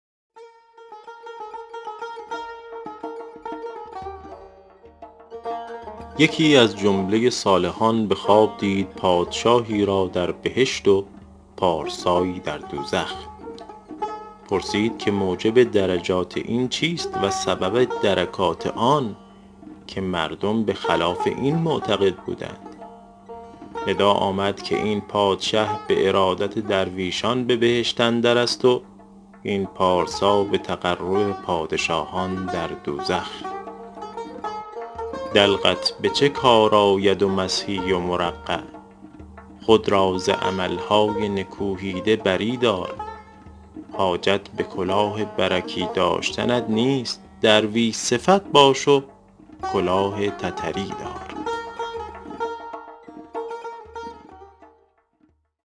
یکی از جمله صالحان به خواب دید پادشاهی را در بهشت و پارسایی در دوزخ پرسید که موجب درجات این چیست و سبب درکات آن که مردم به خلاف این معتقد بودند ندا آمد که این پادشه به ارادت درویشان به بهشت اندر است و این پارسا به تقرب پادشاهان در دوزخ دلقت به چه کار آید و مسحی و مرقع خود را ز عمل های نکوهیده بری دار حاجت به کلاه برکی داشتنت نیست درویش صفت باش و کلاه تتری دار